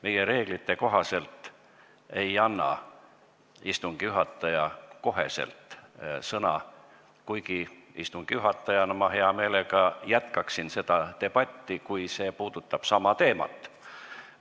Meie reeglite kohaselt ei anna istungi juhataja kohe sõna, kuigi istungi juhatajana ma hea meelega jätkaksin seda debatti, kui see puudutab sama teemat.